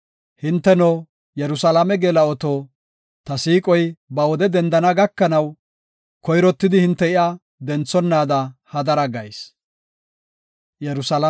Hinteno, Yerusalaame geela7oto, ta siiqoy ba wode dendana gakanaw, koyrottidi hinte iya denthonaada hadara gayis.